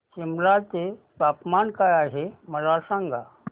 सिमला चे तापमान काय आहे मला सांगा